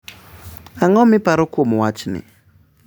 Ang’o ma iparo kuom wachni?